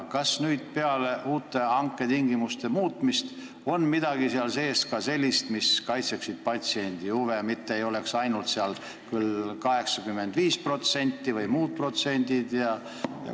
Kas nüüd peale hanke tingimuste muutmist on seal midagi sellist ka sees, mis kaitseks patsiendi huve, et seal ei oleks ainult 85% või muud protsendid?